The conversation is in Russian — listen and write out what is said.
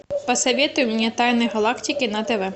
посоветуй мне тайны галактики на тв